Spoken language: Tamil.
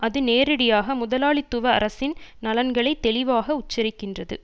அது நேரடியாக முதலாளித்துவ அரசின் நலன்களை தெளிவாக உச்சரிக்கின்றது